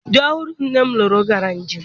Di ọhụrụ nne m lụrụ gara njem.